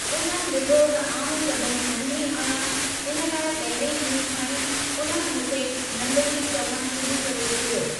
उन्हनि डि॒ठो त आऊं क़द में नंढी आहियां, हिन लाइ पहिरिएं ॾींहुं खां ई उन्हनि मूंखे 'नंढिड़ी' चवणु शुरू करे छडि॒यो।